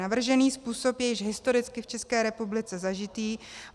Navržený způsob je již historicky v České republice zažitý.